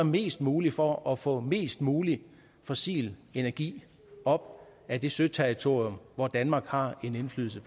mest muligt for at få mest mulig fossil energi op af det søterritorium hvor danmark har en indflydelse